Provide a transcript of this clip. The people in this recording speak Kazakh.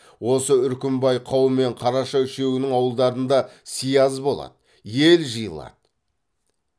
осы үркімбай қаумен қараша үшеуінің ауылдарында сияз болады ел жиылады